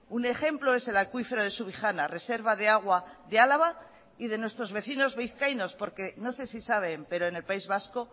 un ejemplo es el acuífero de subijana reserva de agua de álava y de nuestros vecinos vizcaínos porque no sé si saben pero en el país vasco